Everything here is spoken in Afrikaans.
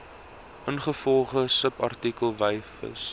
ingevolge subartikel wysig